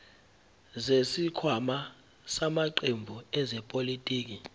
zesikhwama samaqembu ezepolitiki